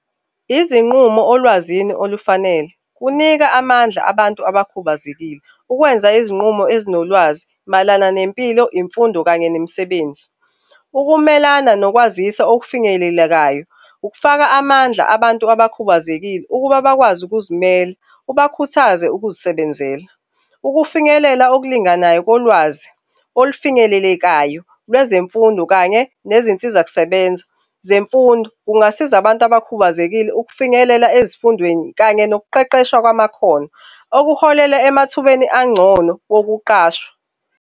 Izinqumo olwazini olufanele kunika amandla abantu abakhubazekile ukwenza izinqumo ezino lwazi mayelana nempilo, imfundo kanye nemisebenzi. Ukumelana nokwazisa okufinyelelekayo, ukufaka amandla abantu abakhubazekile ukuba bakwazi ukuzimela, ubakhuthaze ukuzisebenzela. Ukufinyelela okulinganayo ko lwazi olufinyelelekayo lwezemfundo kanye nezinsiza kusebenza zemfundo kungasiza abantu abakhubazekile ukufinyelela ezifundweni kanye nokuqeqesha kwamakhono okuholela emathubeni angcono bokuqashwa